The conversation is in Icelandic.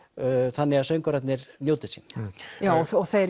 þannig að söngvararnir njóti sín þeir